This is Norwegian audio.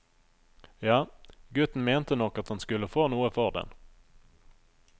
Ja, gutten mente nok at han skulle få noe for den.